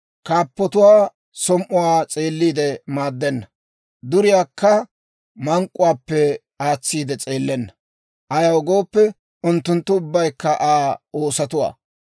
Kaappatuwaa som"uwaa s'eelliide maaddenna; duriyaakka mank'k'uwaappe aatsiide s'eellenna. Ayaw gooppe, unttunttu ubbaykka Aa oosotuwaa.